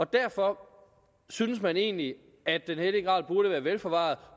derfor synes man egentlig at den hellige grav burde være vel forvaret